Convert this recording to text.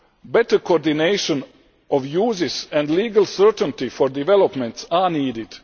Better coordination of uses and legal certainty for developments are needed.